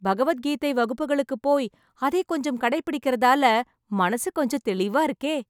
பகவத் கீதை வகுப்புகளுக்கு போய், அதை கொஞ்சம் கடைப்பிடிக்கறதால, மனசு கொஞ்சம் தெளிவா இருக்கே..